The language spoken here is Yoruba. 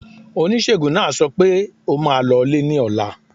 Oníṣègùn náà sọ pẹ́, ó máa lọlé ní ọ̀la.